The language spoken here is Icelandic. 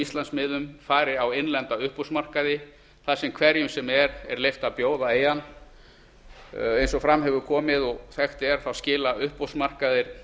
íslandsmiðum fari á innlenda uppboðsmarkaði þar sem hverjum sem er er leyft að bjóða í hann eins og fram hefur komið og þekkt er skila uppboðsmarkaði